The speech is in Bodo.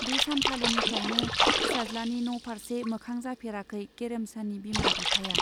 बे सानखालिनिफ्रायनो फिसाज्लानि न' फार्से मोखां जाफेराखै गेरेमसानि बिमा बिफाया।